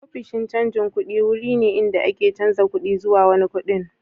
Ofishin canjin kuɗi wurin ne da ake canza kuɗi zuwa wani kuɗin.